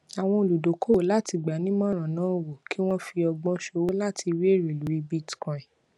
àwọn oludokowo láti gbanimoran náwó kí wọn fi ọgbọn sowo láti rí ère lórí bitcoin